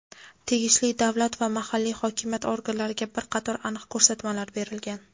tegishli davlat va mahalliy hokimiyat organlariga bir qator aniq ko‘rsatmalar berilgan.